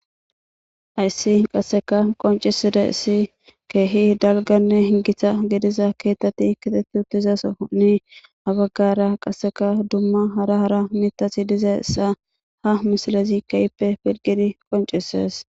Hayssi qasseka qonciside issi keehi dalganne hingitha gidiza keetati kitetti utizasooni abaggara qasseka dumma hara hara mitasi diza issa ha misilezi kayipe pirgidi qoncises.